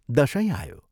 दशैँ आयो।